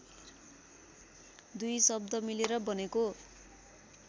दुई शब्द मिलेर बनेको